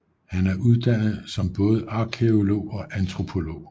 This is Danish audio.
Han er uddannet som både arkæolog og antropolog